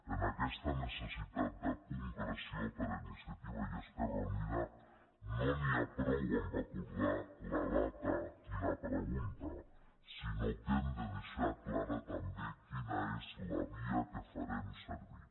en aquesta necessitat de concreció per a inicia·tiva i esquerra unida no n’hi ha prou amb acordar la data i la pregunta sinó que hem de deixar clara també la via que farem servir